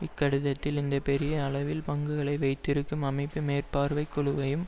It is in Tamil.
இக்கடிதத்தில் இந்த பெரிய அளவில் பங்குகளை வைத்திருக்கும் அமைப்பு மேற்பார்வைக்குழுவையும்